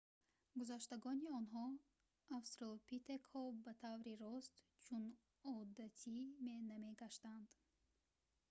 гузаштагони онҳо австралопитекҳо ба таври рост чун одатӣ намегаштанд